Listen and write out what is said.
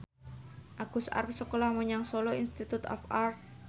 Agus arep sekolah menyang Solo Institute of Art